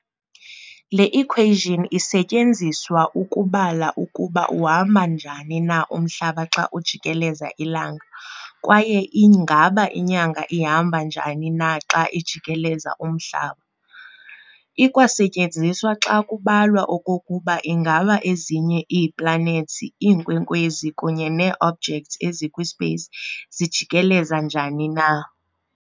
Le-equation isetyenziswa ukubala ukuba uhamba njani na umhlaba xa ujikeleza ilanga kwaye ingaba inyanga ihamba njani na xa ijikeleza umhlaba. Ikwasetyenziswa xa kubalwa okokuba ingaba ezinye ii-planets, iinkwenkwezi, kunye nee-objects ezikwi-space zijikeleza njani na.